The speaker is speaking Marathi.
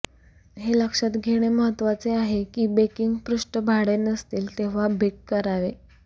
हे लक्षात घेणे महत्वाचे आहे की बेकिंग पृष्ठभाडे नसतील तेव्हा बेक करावे